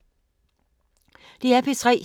DR P3